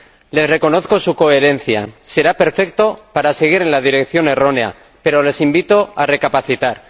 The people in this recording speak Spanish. Les reconozco su coherencia será perfecto para seguir en la dirección errónea pero les invito a recapacitar.